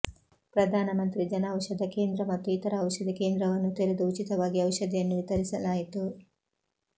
ಪ್ರಧಾನಮಂತ್ರಿ ಜನೌಷಧ ಕೇಂದ್ರ ಮತ್ತು ಇತರ ಔಷಧಿ ಕೇಂದ್ರವನ್ನು ತೆರೆದು ಉಚಿತವಾಗಿ ಔಷಧಿಯನ್ನು ವಿತರಿಸಲಾಯಿತು